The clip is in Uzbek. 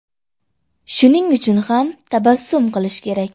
Shuning uchun ham tabassum qilish kerak.